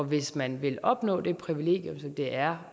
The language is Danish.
hvis man vil opnå det privilegium som det er